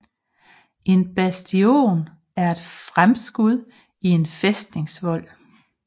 En bastion er et fremskud i en fæstningsvold